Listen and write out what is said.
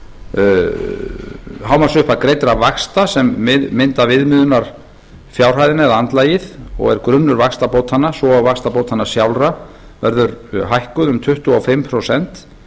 átta hámarksupphæð greiddra vaxta sem mynda viðmiðunarfjárhæðina eða andlagið og er grunnur vaxtabótanna svo og vaxtabótanna sjálfra verður hækkuð um tuttugu og fimm prósent